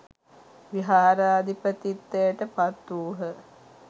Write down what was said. විහාරාධිපතිත්වයට පත් වූහ